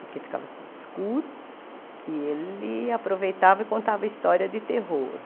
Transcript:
Porque ficava tudo escuro e ele aproveitava e contava história de terror.